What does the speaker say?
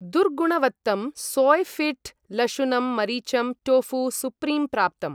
दुर्गुणवत्तं Soyfit लशुनम् मरीचम् tofu supreme प्राप्तम्।